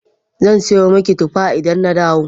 Zan siyo miki tuffa idan na dawo.